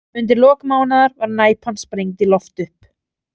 Undir lok mánaðar var Næpan sprengd í loft upp.